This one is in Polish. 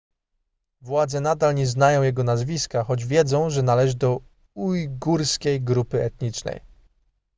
władze nadal nie znają jego nazwiska choć wiedzą że należy do ujgurskiej grupy etnicznej